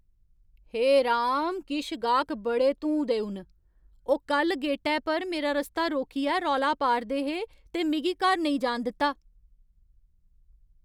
हे राम, किश गाह्क बड़े धूं देऊ न। ओह् कल्ल गेटै पर मेरा रस्ता रोकियै रौला पा'रदे हे ते मिगी घर नेईं जान दित्ता !